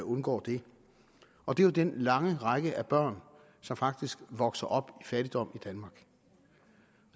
undgår det og det er jo den lange række af børn som faktisk vokser op i fattigdom danmark